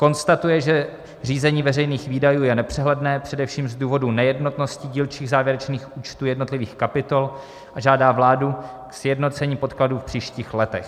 konstatuje, že řízení veřejných výdajů je nepřehledné především z důvodů nejednotnosti dílčích závěrečných účtů jednotlivých kapitol, a žádá vládu k sjednocení podkladů v příštích letech;